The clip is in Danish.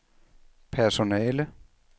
personale